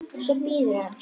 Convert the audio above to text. Svo bíður hann.